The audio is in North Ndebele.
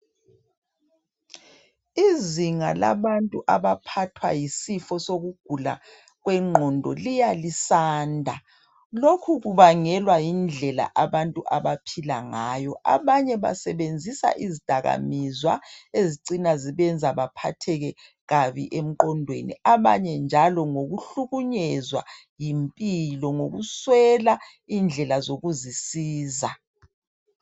Izinga labantu lokuphatha yisifo sengqondo liyalisanda lokhu kubangelwa yindlela abantu abaphila ngayo abanye basebenzisa izidakamizwa ezibenza becine bephatheke kabi emqondweni abanye njalo ngokuhlunyezwa yimpilo ngokwela indlela zokuzisiza